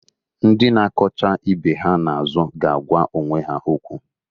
Ndị na-akọcha ibe ha na-azụ ga-agwa onwe ha okwu.